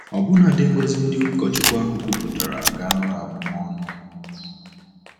Ọbụnadi ngọzi ndị ụkọchukwu ahụ kwupụtara ga-aghọ abụm ọnụ.